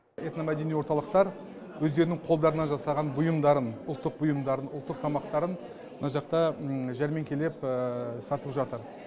этномәдени орталықтар өздерінің қолдарынан жасаған бұйымдарын ұлттық бұйымдарын ұлттық тамақтарын мына жақта жәрмеңкелеп сатып жатыр